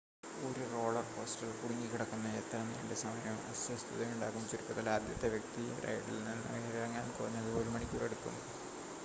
ഒരു റോളർ കോസ്റ്ററിൽ കുടുങ്ങിക്കിടക്കുന്ന എത്ര നീണ്ട സമയവും അസ്വസ്ഥതയുണ്ടാക്കും ചുരുക്കത്തിൽ ആദ്യത്തെ വ്യക്തി റൈഡിൽ നിന്ന് ഇറങ്ങാൻ കുറഞ്ഞത് ഒരു മണിക്കൂർ എടുക്കും